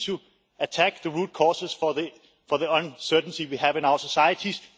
We need to attack the root causes of the uncertainty we have in our societies.